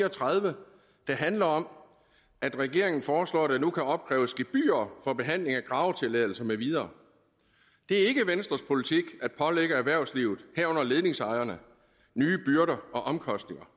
og tredive der handler om at regeringen foreslår at der nu kan opkræves gebyrer for behandling af gravetilladelser med videre det er ikke venstres politik at pålægge erhvervslivet herunder ledningsejerne nye byrder og omkostninger